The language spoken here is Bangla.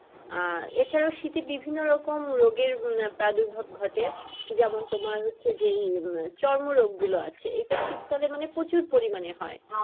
আহ এছাড়াও শীতে বিভিন্ন রকম রোগে প্রাদুর ভব ঘটে যেমন তোমার হচ্ছে যে এর চরমরোগ গুলো আছে এটা শীতকালে মানে প্রচুর পরিমানে হয়।